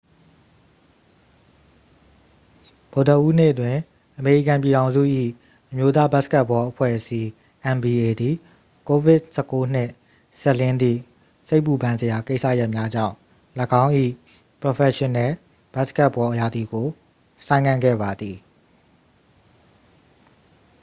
ဗုဒ္ဓဟူးနေ့တွင် အမေရိကန်ပြည်ထောင်စု၏ အမျိုးသားဘတ်စကတ်ဘောအဖွဲ့အစည်း nba သည် covid-၁၉ နှင့်စပ်လျဉ်းသည့် စိတ်ပူပန်စရာကိစ္စရပ်များကြောင့် ၎င်း၏ ပရော်ဖက်ရှင်နယ်ဘတ်စကတ်ဘောရာသီကို ဆိုင်းငံ့ခဲ့ပါသည်။